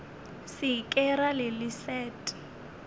se ke ra le leset